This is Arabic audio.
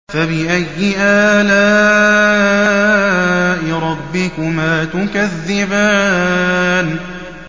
فَبِأَيِّ آلَاءِ رَبِّكُمَا تُكَذِّبَانِ